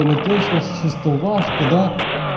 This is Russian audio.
точно шестого вашку да